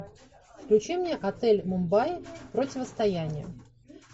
включи мне отель мумбаи противостояние